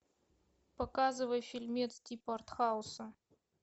показывай фильмец типа артхауса